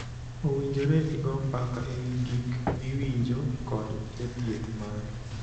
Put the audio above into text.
Owinjore igoo mbaka e wii gik miwinjo kod jathieth mari.